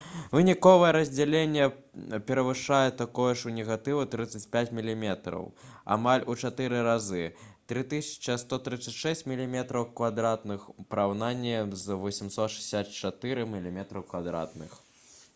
выніковае раздзяленне перавышае такое ж у негатыву 35 мм амаль у чатыры разы 3136 мм² у параўнанні з 864 мм²